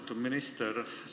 Austatud minister!